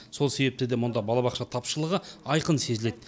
сол себепті де мұнда балабақша тапшылығы айқын сезіледі